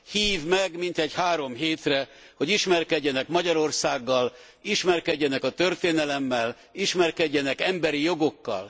hív meg mintegy három hétre, hogy ismerkedjenek Magyarországgal, ismerkedjenek a történelemmel, ismerkedjenek az emberi jogokkal.